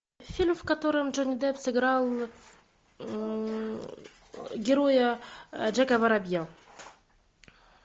фильм в котором джонни депп сыграл героя джека воробья